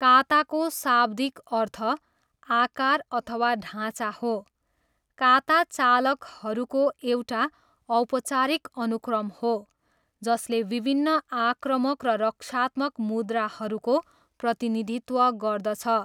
काताको शाब्दिक अर्थ 'आकार' अथवा 'ढाँचा' हो। काता चालहरूको एउटा औपचारिक अनुक्रम हो जसले विभिन्न आक्रामक र रक्षात्मक मुद्राहरूको प्रतिनिधित्व गर्दछ।